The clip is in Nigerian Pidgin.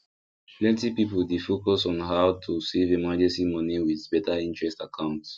plenty people dey focus on how to save emergency money with better interest account